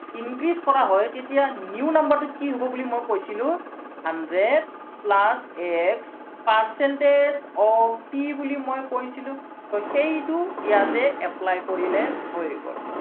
increase কৰা হয়, তেতিয়া new number টো কি হব বুলি মই কৈছিলো hundred plus x percentage of p বুলি মই কৈছিলো, so সেইটো ইয়াতে apply কৰিলে হৈ গল।